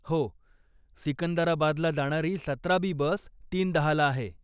हो, सिकंदराबादला जाणारी सतरा बी बस तीन दहाला आहे.